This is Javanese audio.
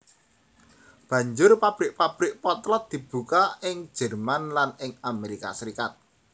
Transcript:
Banjur pabrik pabrik potlot dibuka ing Jerman lan ing Amerika Serikat